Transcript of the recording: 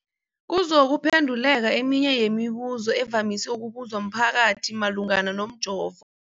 kuzokuphe nduleka eminye yemibu zo evamise ukubuzwa mphakathi malungana nomjovo.